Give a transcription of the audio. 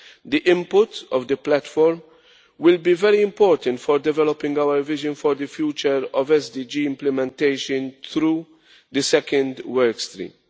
The input of the platform will be very important for developing our vision for the future of SDG implementation through the second work stream.